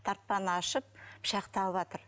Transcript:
тартпаны ашып пышақты алыватыр